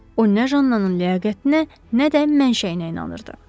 O nə Jannanının ləyaqətinə, nə də mənşəyinə inanırdı.